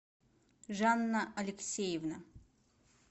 жанна алексеевна